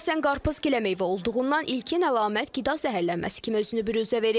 Əsasən qarpız giləmeyvə olduğundan ilkin əlamət qida zəhərlənməsi kimi özünü biruzə verir.